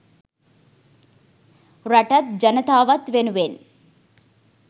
රටත් ජනතාවත් වෙනුවෙන්